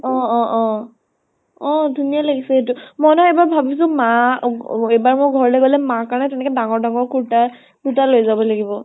অ অ অ । অ ধুনীয়া লাগিছে সেইতো । মই নহয় এইবাৰ ভাবিছো মা অ এইবাৰ মই ঘৰলৈ গলে মা কাৰণে তেনেকে ডাঙৰ ডাঙৰ কুৰ্তা, কুৰ্তা লৈ যাব লাগিব ।